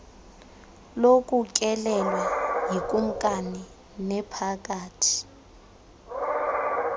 lokutyelelwa yikumkani nephakathi